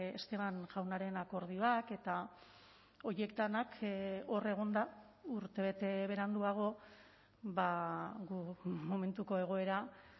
esteban jaunaren akordioak eta horiek denak hor egonda urtebete beranduago momentuko egoera